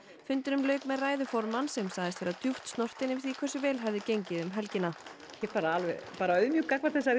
fundinum lauk með ræðu formanns sem sagðist vera djúpt snortin yfir því hversu vel hefði gengið um helgina ég er bara alveg auðmjúk gagnvart þessari